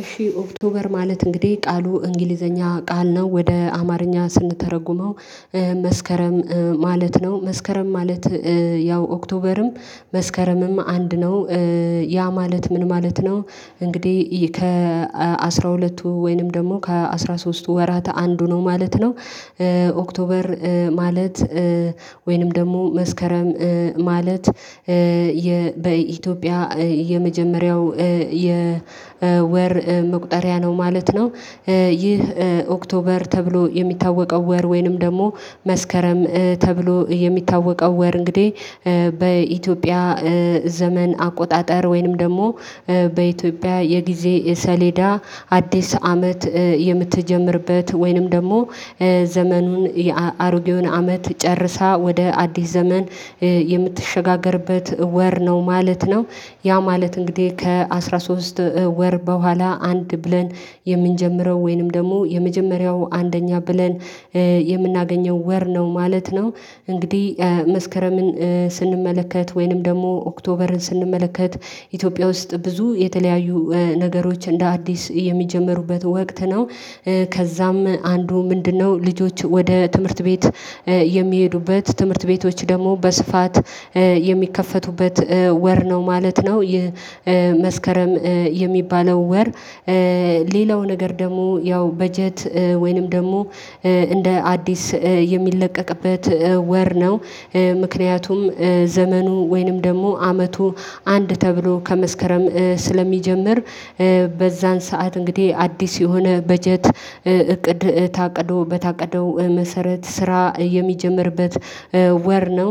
እሺ ኦክቶበር ማለት እንግዲህ ቃሉ እንግሊዘኛ ቃል ነው ወደ አማርኛ ስንተረጉመው መስከረም ማለት ነው መስከረም ማለት ያው ኦክቶበርም መስከረምም አንድ ነው። ያ ማለት ምን ማለት ነው? እንግዲህ ከአስራሁለቱ ወይንም ደግሞ ከአስራሶስቱ ወራት አንዱ ነው ማለት ነው። ኦክቶበር ማለት ወይንም ደግሞ መስከረም ማለት የ በኢትዮጵያ የመጀመሪያው የ የወር መቁጠሪያ ነው ማለት ነው። ይህ ኦክቶበር ተብሎ የሚታወቀው ወር ወይንም ደግሞ መስከረም ተብሎ የሚታወቀው ወር እንግዲህ። በኢትዮጵያ ዘመን አቆጣጠር ወይንም ደግሞ በኢትዮጵያ የጊዜ ሰሌዳ አዲስ አመት የምትጀምርበት ወይንም ደግሞ ዘመኑን የአሮጌውን አመት ጨርሳ ወደ አዲስ ዘመን የምትሸጋገርበት ወር ነው ማለት ነው። ያ ማለት እንግዲህ ከአንድአስራሶስት ወር በኋላ አንድ ብለን የምንጀምረው ወይንም ደግሞ የመጀመሪያው አንደኛ ብለን የምናገኘው ወር ነው ማለት ነው። እንግዲህ መስከረምን ስንመለከት ወይንም ደግሞ ኦክቶበርን ስንመለከት ኢትዮጵያ ውስጥ ብዙ የተለያዩ ነገሮች እንደ አዲስ የሚጀመሩበት ወቅት ነው። ከዛም አንዱ ምንድነው ልጆች ወደ ትምህርት ቤት የሚሄዱበት ትምህርት ቤቶች ደግሞ በስፋት የሚከፈቱበት ወር ነው ማለት ነው። ይህ መስከረም የሚባለው ወር ሌላው ነገር ደግሞ ያው በጀት ወይንም ደግሞ እንደ አዲስ የሚለቀቅበት ወር ነው። ምክንያቱም ዘመኑ ወይንም ደግሞ አመቱ አንድ ተብሎ ከመስከረም ስለሚጀምር በዛን ሰዓት እንግዲህ አዲስ የሆነ በጀት እቅድ ታቅዶ በታቀደው መሰረት ስራ የሚጀምርበት ወር ነው።